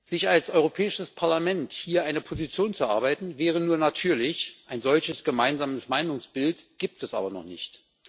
Sich als Europäisches Parlament hier eine Position zu erarbeiten, wäre nur natürlich. Ein solches gemeinsames Meinungsbild gibt es aber noch nicht.